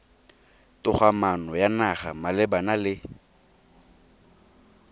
togamaano ya naga malebana le